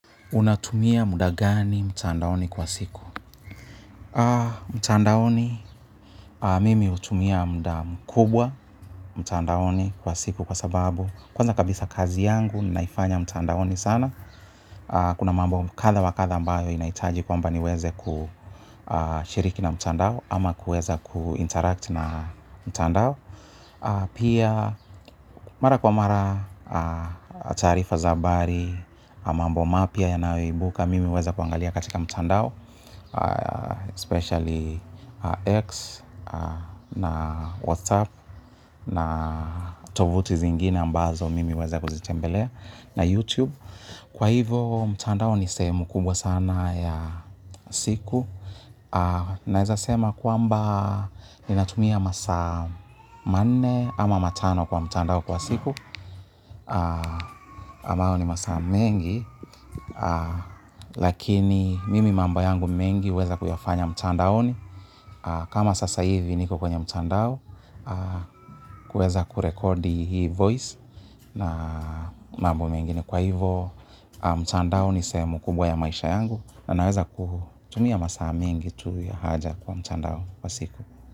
Unatumia muda gani mtandaoni kwa siku? Mtandaoni, mimi hutumia muda mkubwa mtandaoni kwa siku kwa sababu. Kwanza kabisa kazi yangu, naifanya mtandaoni sana. Kuna mambo kadha wa kadha ambayo inahitaji kwamba niweze kushiriki na mtandao ama kuweza kuinteract na mtandao. Pia, mara kwa mara, taarifa za habari, mambo mapya yanayoibuka, mimi huweza kuangalia katika mtandao. Especially x na whatsapp na tovuti zingine ambazo mimi huweza kuzitembelea na youtube kwa hivo mtandao ni sehemu kubwa sana ya siku naweza sema kwamba ninatumia masaa manne ama matano kwa mtandao kwa siku ama hayoo ni masaa mengi lakini mimi mambo yangu mengi huweza kuyafanya mtandaoni. Kama sasa hivi niko kwenye mtandao. Kuweza kurekodi hii voice na mambo mengne kwa hivo mtandao ni sehemu kubwa ya maisha yangu. Na naweza kuu tumia masaa mengi tu ya haja kwa mchandao kwa siku.